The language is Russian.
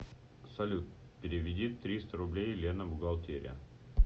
салют переведи триста рублей лена бухгалтерия